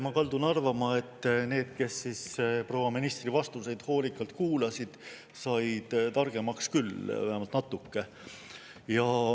Ma kaldun arvama, et need, kes proua ministri vastuseid hoolikalt kuulasid, said targemaks küll, vähemalt natuke.